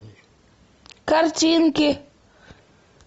картинки